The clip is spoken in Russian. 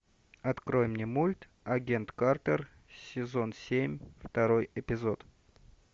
открой мне мульт агент картер сезон семь второй эпизод